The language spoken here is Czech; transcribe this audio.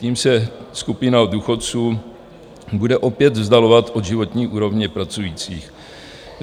Tím se skupina důchodců bude opět vzdalovat od životní úrovně pracujících.